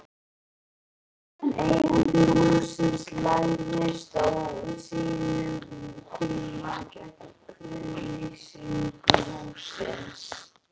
En eigandi hússins lagðist á sínum tíma gegn friðlýsingu hússins?